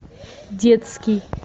детский